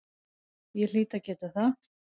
Ég hlýt að geta það.